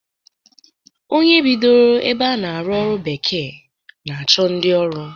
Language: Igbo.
Onye bidoro ebe a na-arụ ọrụ bekee na-achọ ndi ọrụ